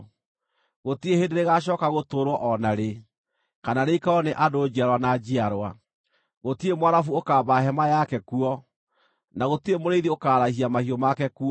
Gũtirĩ hĩndĩ rĩgaacooka gũtũũrwo o na rĩ, kana rĩikarwo nĩ andũ njiarwa na njiarwa; gũtirĩ Mũarabu ũkaamba hema yake kuo, na gũtirĩ mũrĩithi ũkaarahia mahiũ make kuo.